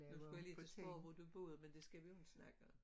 Nu skulle jeg lige huske på hvor du boede men det skal vi jo ikke snakke om